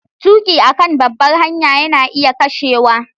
Tuki a kan babbar hanya yana iya kashewa.